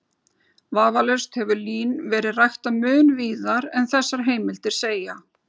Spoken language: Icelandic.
Vafalaust hefur lín verið ræktað mun víðar en þessar heimildir segja.